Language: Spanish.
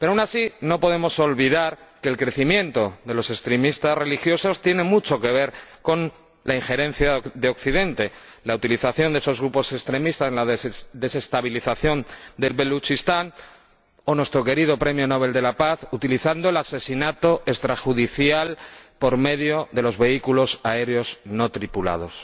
Pero, aun así, no podemos olvidar que el crecimiento de los extremistas religiosos tiene mucho que ver con la injerencia de Occidente con la utilización de esos grupos extremistas, la desestabilización del Baluchistán o la utilización, por nuestro querido premio Nobel de la Paz, del asesinato extrajudicial por medio de los vehículos aéreos no tripulados.